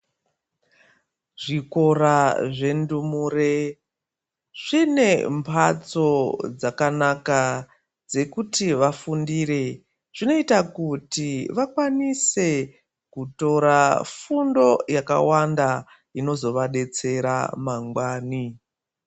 Zvikora zvendumure zvine mbatso dzakanaka dzekuti vafundire zvinoita kuti vakwanise kutora fundo yakawanda inozovadetsera mangwani.